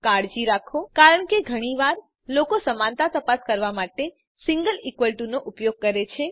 કાળજી રાખો કારણ કે ઘણી વાર લોકો સમાનતા તપાસ કરવા માટે સિંગલ ઇકવલ ટુ નો ઉપયોગ કરે છે